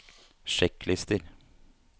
sjekklister